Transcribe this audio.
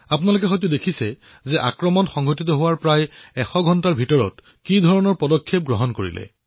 আপোনালোকে দেখিছে যে আক্ৰমণৰ ১০০ ঘণ্টাৰ ভিতৰতেই কি ধৰণৰ পদক্ষেপ গ্ৰহণ কৰা হল